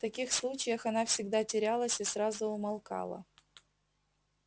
в таких случаях она всегда терялась и сразу умолкала